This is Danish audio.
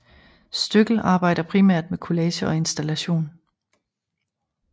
Støckel arbejder primært med collage og installation